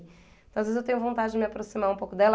Então, às vezes, eu tenho vontade de me aproximar um pouco dela.